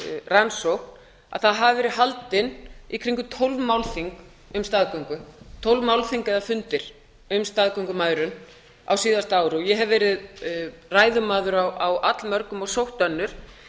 rannsókn að það hafi verið haldin í kringum tólf málþing eða fundir um staðgöngumæðrun ég hef verið ræðumaður á allmörgum og sótt önnur